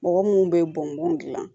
Mɔgɔ munnu bɛ bɔn bɔn